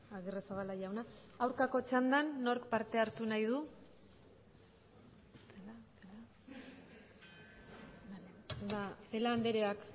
agirrezabala jauna aurkako txandan nork parte hartu nahi du ba celaá andreak